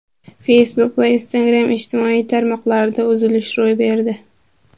Facebook va Instagram ijtimoiy tarmoqlarida uzilish yuz berdi.